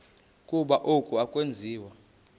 ukuba oku akwenziwa